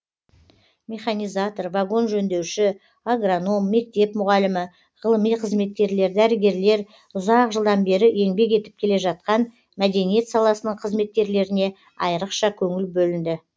механизатор вагон жөндеуші агроном мектеп мұғалімі ғылыми қызметкерлер дәрігерлер ұзақ жылдан бері еңбек етіп келе жатқан мәдениет саласының қызметкерлеріне айрықша көңіл бөлінді